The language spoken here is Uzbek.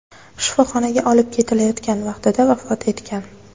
shifoxonaga olib ketilayotgan vaqtida vafot etgan.